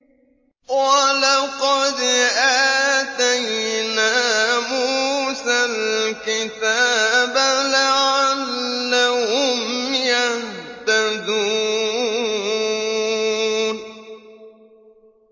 وَلَقَدْ آتَيْنَا مُوسَى الْكِتَابَ لَعَلَّهُمْ يَهْتَدُونَ